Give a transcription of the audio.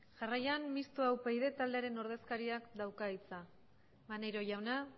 jarraian mixto upyd taldearen ordezkaria dauka hitza maneiro jauna dauka hitza maneiro jauna